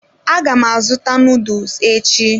Aga m azụta noodles echi.